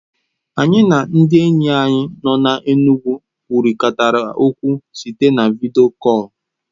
Anyị na ndị enyi anyị nọ n'Enugwu kwurịtara okwu site na vidiyo kọl.